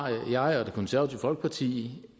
jeg og det konservative folkeparti